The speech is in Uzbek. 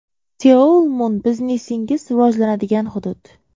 Seoul Mun – biznesingiz rivojlanadigan hudud.